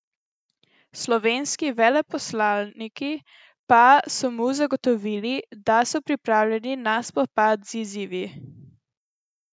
Slovenski veleposlaniki pa so mu zagotovili, da so pripravljeni na spopad z izzivi.